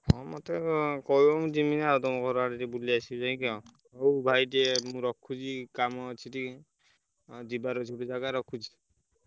ହଁ ମତେ କହିବ ମୁଁ ଯିମି ତଆମ ଘର ଆଡେ ବୁଲି ଆସିବି ଆଉ ହଉ ଭାଇ ମ ଉଁ ଟିକେ ରଖୁଛି କାମ ଅଛି ଟିକେ ଯିବାର ଅଛି ଗୋଟେ ଜାଗା ରଖୁଛି।